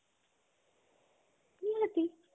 ନିହାତି